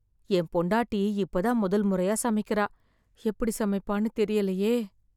என் பொண்டாட்டி இப்பதான் முதல் முறையா சமைக்கிறா, எப்படி சமைப்பான்னு தெரியலயே?